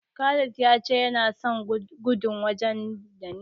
Khalil ya ce yana son gudun waje mai nisa.